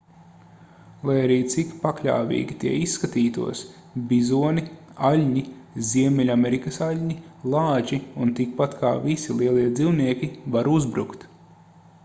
lai arī cik pakļāvīgi tie izskatītos bizoni aļņi ziemeļamerikas aļņi lāči un tikpat kā visi lielie dzīvnieki var uzbrukt